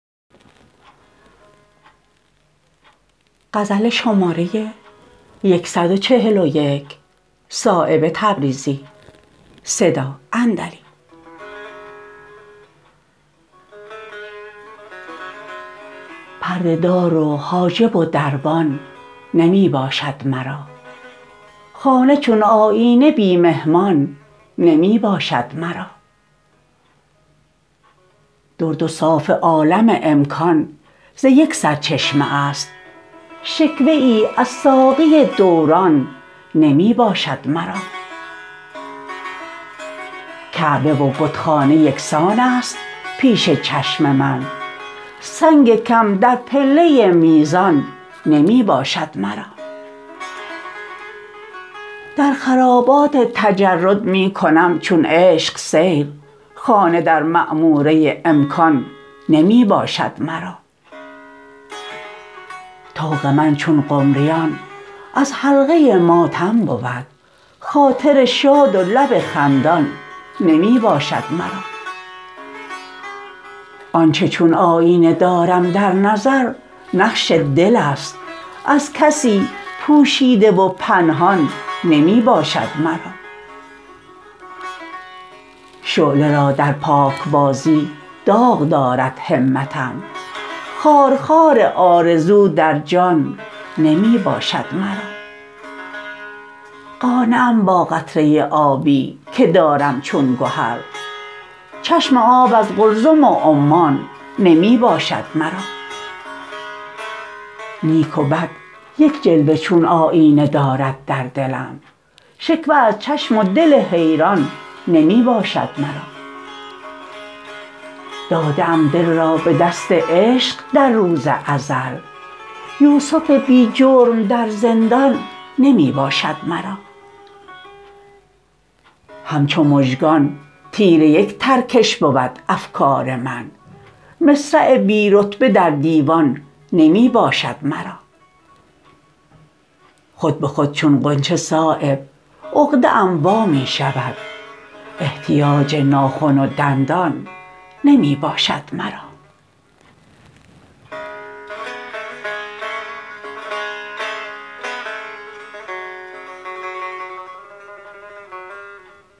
پرده دار و حاجب و دربان نمی باشد مرا خانه چون آیینه بی مهمان نمی باشد مرا درد و صاف عالم امکان ز یک سرچشمه است شکوه ای از ساقی دوران نمی باشد مرا کعبه و بتخانه یکسان است پیش چشم من سنگ کم در پله میزان نمی باشد مرا در خرابات تجرد می کنم چون عشق سیر خانه در معموره امکان نمی باشد مرا طوق من چون قمریان از حلقه ماتم بود خاطر شاد و لب خندان نمی باشد مرا آنچه چون آیینه دارم در نظر نقش دل است از کسی پوشیده و پنهان نمی باشد مرا شعله را در پاکبازی داغ دارد همتم خارخار آرزو در جان نمی باشد مرا قانعم با قطره آبی که دارم چون گهر چشم آب از قلزم و عمان نمی باشد مرا نیک و بد یک جلوه چون آیینه دارد در دلم شکوه از چشم و دل حیران نمی باشد مرا داده ام دل را به دست عشق در روز ازل یوسف بی جرم در زندان نمی باشد مرا همچو مژگان تیر یک ترکش بود افکار من مصرع بی رتبه در دیوان نمی باشد مرا خود به خود چون غنچه صایب عقده ام وا می شود احتیاج ناخن و دندان نمی باشد مرا